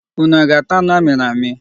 Ụnụ aga ata anụ amịrị amị?